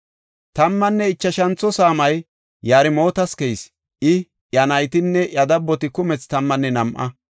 Tammanne ichashantho saamay Yarmootas keyis; I, iya naytinne iya dabboti kumethi tammanne nam7a.